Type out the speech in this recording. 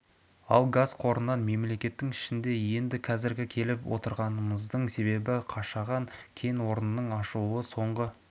ал газ қорынан мемлекеттің ішінде енді қазіргі келіп отырғанымыздың себебі қашаған кен орнының ашылуы соңғы